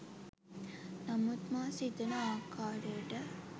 නමුත් මා සිතන ආකාරයට